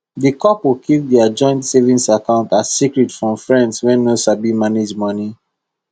the couple keep their joint savings account as secret from friends wey no sabi manage money